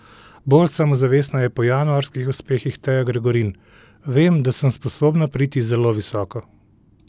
Bolj samozavestna je po januarskih uspehih Teja Gregorin: "Vem, da sem sposobna priti zelo visoko.